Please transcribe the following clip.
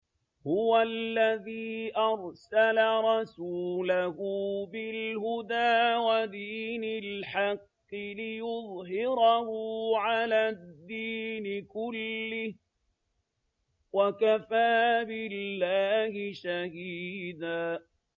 هُوَ الَّذِي أَرْسَلَ رَسُولَهُ بِالْهُدَىٰ وَدِينِ الْحَقِّ لِيُظْهِرَهُ عَلَى الدِّينِ كُلِّهِ ۚ وَكَفَىٰ بِاللَّهِ شَهِيدًا